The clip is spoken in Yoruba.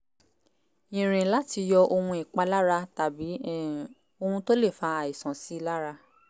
ìrìn láti yọ ohun ìpalára tàbí um ohun tó lè fa àìsàn síi lára